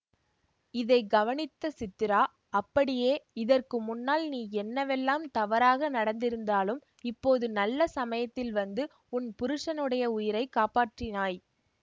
இதை கவனித்த சித்ரா அடியே இதற்கு முன்னால் நீ என்னவெல்லாம் தவறாக நடந்திருந்தாலும் இப்போது நல்ல சமயத்தில் வந்து உன் புருஷனுடைய உயிரை காப்பாற்றினாய்